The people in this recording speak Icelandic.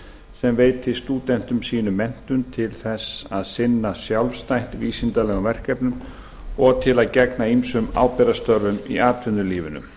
sem veitir stúdentum sínum menntun til að sinna sjálfstætt vísindalegum verkefnum og til að gegna ábyrgðarstörfum í atvinnulífinu